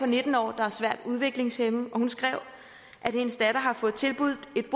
nitten år der er svært udviklingshæmmet hun skrev at hendes datter har fået tilbudt et